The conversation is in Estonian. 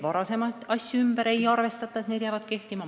Varasemaid pensione ümber ei arvestata, need jäävad kehtima.